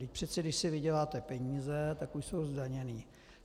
Vždyť přece když si vyděláte peníze, tak už jsou zdaněné.